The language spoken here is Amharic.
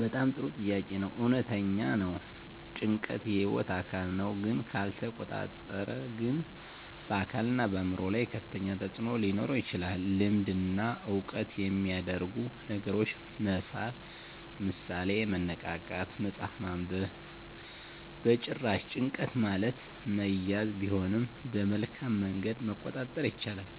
በጣም ጥሩ ጥያቄ ነው። እውነተኛ ነው — ጭንቀት የህይወት አካል ነው፣ ግን ካልተቆጣጠረ ግን በአካልና በአእምሮ ላይ ከፍተኛ ተፅዕኖ ሊኖረው ይችላል። ልምድ እና ዕውቀት የሚያደርጉ ነገሮችን መሳብ (ምሳሌ፦ መነቃቃት፣ መጽሐፍ ማንበብ) በጭራሽ፣ ጭንቀት ማለት መያዝ ቢሆንም በመልካም መንገድ መቆጣጠር ይቻላል።